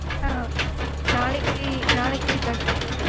ஆஹ் நாளைக்கு நாளைக்கு இருக்கா sir